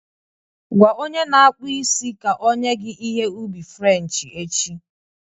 Gwa onye na-akpụ isi ka o nye gị ihe ubi French echi